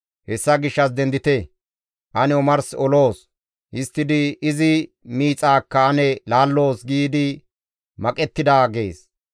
Hessa gishshas dendite! Ane omars oloos; histtidi izi miixaakka ane laalloos› giidi maqettida» gees.